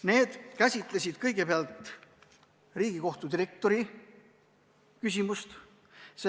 Need käsitlesid kõigepealt Riigikohtu direktori küsimust.